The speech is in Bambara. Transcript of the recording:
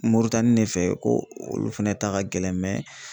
Moritani ne fɛ ko olu fɛnɛ ta ka gɛlɛn mɛ